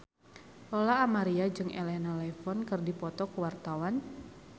Lola Amaria jeung Elena Levon keur dipoto ku wartawan